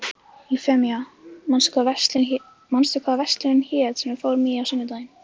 Eufemía, manstu hvað verslunin hét sem við fórum í á sunnudaginn?